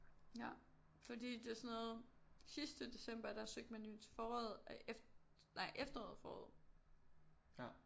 Ja fordi det er sådan noget sidste december der søgte man jo til foråret nej efteråret foråret